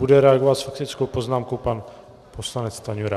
Bude reagovat s faktickou poznámkou pan poslanec Stanjura.